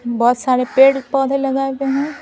बहुत सारे पेड़ पौधे लगाये हुये हैं।